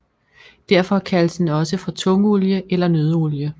Derfor kaldes den også for tungolie eller nøddeolie